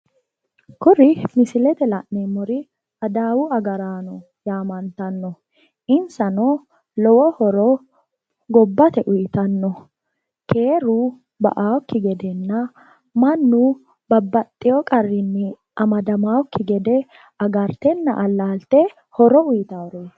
Kuri misilete aana la'neemmori adawu agaranoti adawu agarano keeru ba"akki gede alalitenna qorqortanni horo uyittanoreti